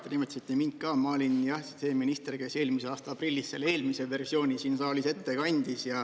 Jah, te nimetasite mind ka, ma olin see minister, kes eelmise aasta aprillis selle eelmise versiooni siin saalis ette kandis.